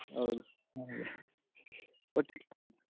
ಒಟ್ಟಿಗೆ ಹೋಗಕ್ಕೆ.